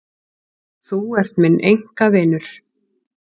Þú ert minn einkavinur.